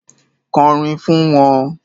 Kọ orin fún wọn.